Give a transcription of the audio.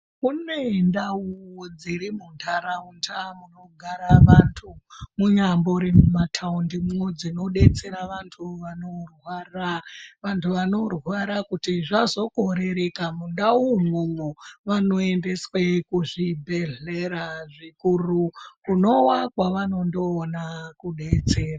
Kune ndau dziri muntharaunda munogara vanthu, munyambori mumathaundimwo dzinodetsera vanthu vanorwara. Vanthu vanorwara kuti zvazokorereka mundau umwomwo, vanoendeswe kuzvibhedhlera zvikuru, kunowa kwavanondoona kudetsero.